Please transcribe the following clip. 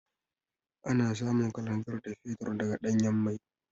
Ana samun Kalanzir da Fetur daga Ɗanyan mai.